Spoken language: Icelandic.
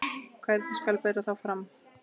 Hvernig skal bera þá fram?